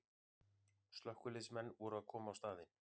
Slökkviliðsmenn voru að koma á staðinn